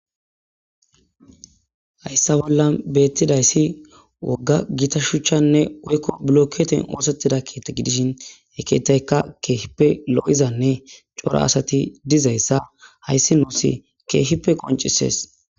Hayssa bollan beetidayssi wogga gita shuchanne woykko bilookete oosettida keethe gidishin he keethayka keehippe lo7izanne cora asati dizayssa hayssi nuusi keehippe qonccissees.